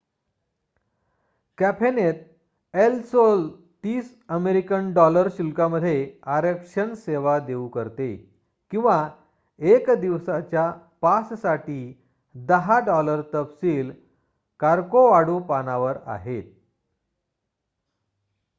कॅफेनेत El Sol 30 American $ शुल्कामध्ये आरक्षण सेवा देऊ करते किंवा 1 दिवसाच्या पास साठी 10 $; तपशील कॉर्कॉवाडो पानावर आहेत